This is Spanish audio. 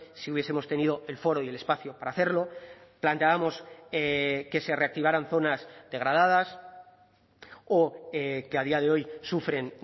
si hubiesemos tenido el foro y el espacio para hacerlo planteábamos que se reactivaran zonas degradadas o que a día de hoy sufren